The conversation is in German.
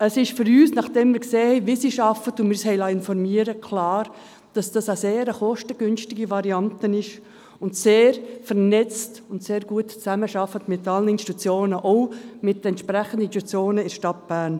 Es ist für uns, nachdem wir gesehen haben, wie dieses arbeiten – wir haben uns informiert – klar, dass dies eine sehr kostengünstige Variante ist und so sehr vernetzt und gut mit allen Institutionen zusammenarbeitet wird, auch mit den entsprechenden Institutionen in der Stadt Bern.